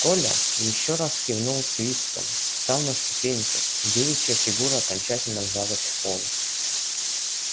коля ещё раз кивнул свицкому встал на ступеньку девичья фигура окончательно вжалась в пол